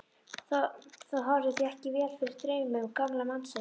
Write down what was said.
Það horfði því ekki vel fyrir draumum gamla mannsins.